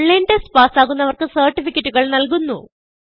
online test പാസ്സാകുന്നവർക്ക് സർട്ടിഫികറ്റുകൾ നല്കുന്നു